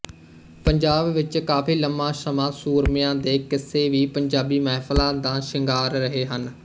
ਪੰਜਾਬ ਵਿੱਚ ਕਾਫੀ ਲੰਬਾ ਸਮਾਂ ਸੂਰਮਿਆਂ ਦੇ ਕਿੱਸੇ ਵੀ ਪੰਜਾਬੀ ਮਹਿਫ਼ਲਾਂ ਦਾ ਸ਼ਿਗਾਰ ਰਹੇ ਹਨ